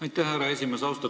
Aitäh, härra esimees!